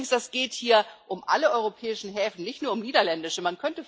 Übrigens geht es hier um alle europäischen Häfen, nicht nur um niederländische.